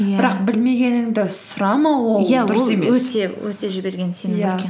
иә бірақ білмегеніңді сұрамау ол дұрыс емес өте жіберген